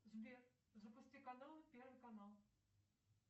сбер запусти каналы первый канал